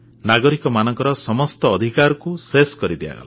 ନାଗରିକମାନଙ୍କ ସମସ୍ତ ଅଧିକାରକୁ ଶେଷ କରିଦିଆଗଲା